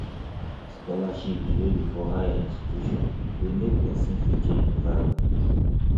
scholarship wey be for higher institutions de make persin fit change environment